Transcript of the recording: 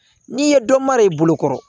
N'i ye dɔ mara i bolo kɔrɔ